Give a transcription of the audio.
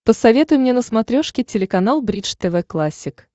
посоветуй мне на смотрешке телеканал бридж тв классик